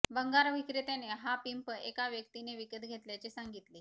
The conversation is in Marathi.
भंगार विक्रेत्याने हा पिंप एका व्यक्तीने विकत घेतल्याचे सांगितले